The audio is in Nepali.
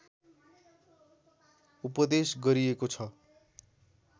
उपदेश गरिएको छ